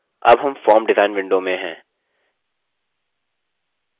हम अब form design window में हैं